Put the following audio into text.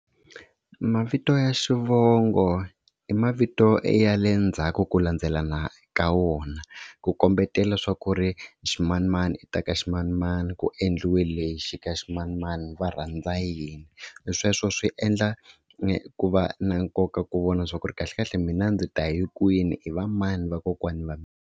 Mavito ya xivongo i mavito ya le ndzhaku ku landzelelana ka wona, ku kombetela swa ku ri ximanimani i ta ka ximanimani ku endliwile lexi ka ximanimani va rhandza yini, sweswo swi endla ku va na nkoka ku vona swa ku ri kahlekahle mina ndzi ta hi kwini i va mani vakokwani va mina.